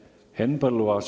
Henn Põlluaas.